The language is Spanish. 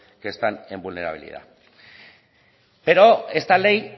que están en vulnerabilidad pero esta ley